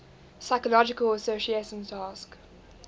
psychological association task